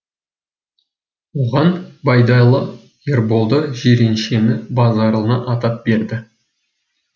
оған байдалы ерболды жиреншені базаралыны атап берді